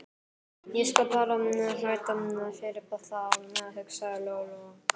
Ég skal bara þræta fyrir það, hugsaði Lóa Lóa.